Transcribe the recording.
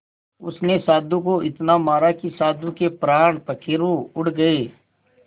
उसने साधु को इतना मारा कि साधु के प्राण पखेरु उड़ गए